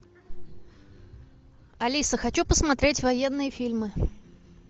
алиса хочу посмотреть военные фильмы